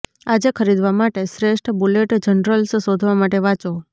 આજે ખરીદવા માટે શ્રેષ્ઠ બુલેટ જર્નલ્સ શોધવા માટે વાંચો